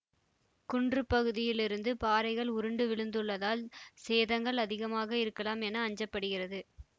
குன்றுப் பகுதியிலிருந்து பாறைகள் உருண்டு விழுந்துள்ளதால் சேதங்கள் அதிகமாக இருக்கலாம் என அஞ்ச படுகிறது